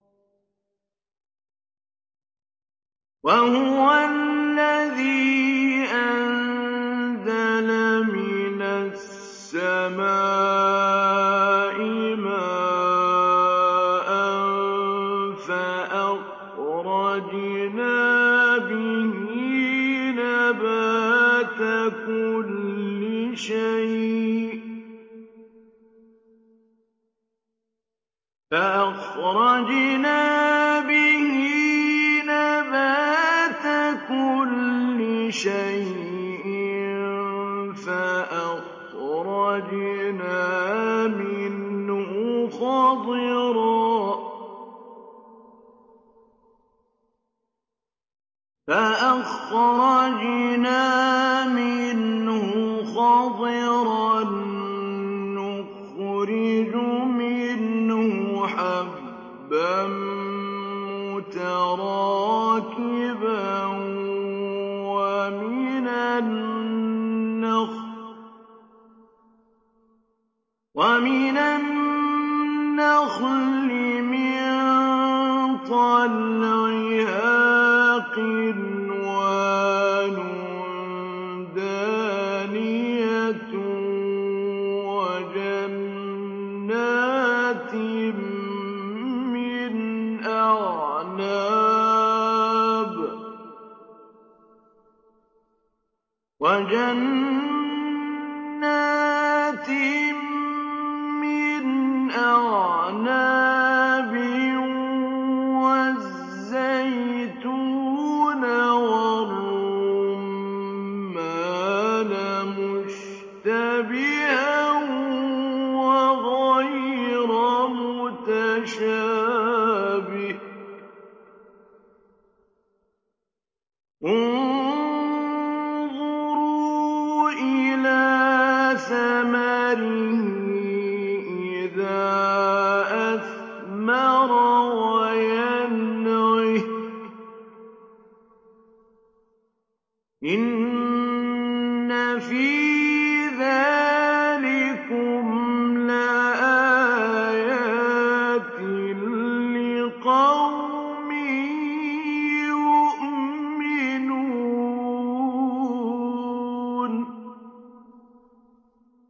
وَهُوَ الَّذِي أَنزَلَ مِنَ السَّمَاءِ مَاءً فَأَخْرَجْنَا بِهِ نَبَاتَ كُلِّ شَيْءٍ فَأَخْرَجْنَا مِنْهُ خَضِرًا نُّخْرِجُ مِنْهُ حَبًّا مُّتَرَاكِبًا وَمِنَ النَّخْلِ مِن طَلْعِهَا قِنْوَانٌ دَانِيَةٌ وَجَنَّاتٍ مِّنْ أَعْنَابٍ وَالزَّيْتُونَ وَالرُّمَّانَ مُشْتَبِهًا وَغَيْرَ مُتَشَابِهٍ ۗ انظُرُوا إِلَىٰ ثَمَرِهِ إِذَا أَثْمَرَ وَيَنْعِهِ ۚ إِنَّ فِي ذَٰلِكُمْ لَآيَاتٍ لِّقَوْمٍ يُؤْمِنُونَ